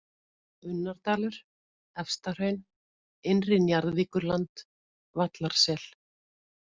Unnardalur, Efstahraun, Innri Njarðvíkurland, Vallarsel